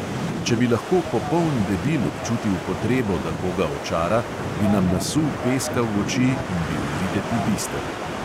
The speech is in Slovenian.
Če bi lahko popoln debil občutil potrebo, da koga očara, bi nam nasul peska v oči in bil videti bister.